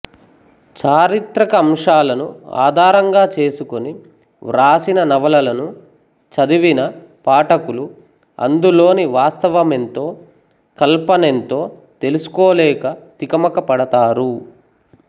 చారిత్రక అంశాలను ఆధారంగా చేసుకొని వ్రాసిన నవలలను చదివిన పాఠకులు అందులోని వాస్తవమెంతో కల్పన ఎంతో తెలుసుకోలేక తికమక పడతారు